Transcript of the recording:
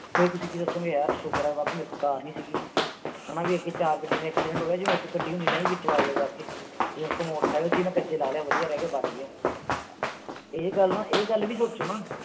ਫਿਰ ਤੁਸੀਂ ਕੀ ਸੋਚੋਗੇ, ਸ਼ੁੱਕਰ ਆ ਬਾਬੇ ਮੇਰੇ ਕੋਲ ਕਾਰ ਨੀ ਸੀਗੀ। ਹਨਾ ਅੱਗੇ ਚਾਰ ਗੱਡੀਆਂ ਦਾ accident ਹੋ ਗਿਆ, ਜੇ ਮੇਰੇ ਕੋਲ ਇੱਕ ਹੁੰਦੀ ਮੈਂ ਵੀ ਵਿੱਚ ਵੱਜਦਾ ਜਾ ਕੇ। ਮੇਰੇ ਕੋਲ ਮੋਟਰਸਾਈਕਲ ਸੀ, ਮੈਂ ਕੱਚੇ ਲਾਹ ਲਿਆ, ਵਧੀਆ ਰਹਿ ਗਿਆ, ਬਚ ਗਿਆ। ਇਹ ਗੱਲ ਵੀ ਸੋਚੋ ਨਾ।